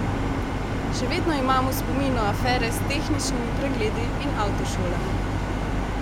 Še vedno imam v spominu afere s tehničnimi pregledi in avtošolami.